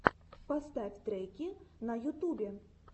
поставь треки на ютубе